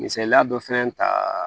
Misaliya dɔ fɛnɛ ta